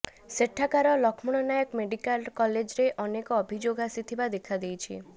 ସେଠାକାର ଲକ୍ଷ୍ମଣନାୟକ ମେଡିକାଲରେ କଲେଜରେ ଅନେକ ଅଭିଯୋଗ ଆସିଥିବା ଦେଖାଦେଇଛି